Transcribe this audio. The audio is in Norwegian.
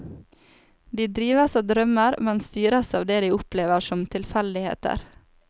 De drives av drømmer, men styres av det de opplever som tilfeldigheter.